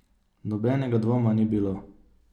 Nobenega dvoma ni bilo.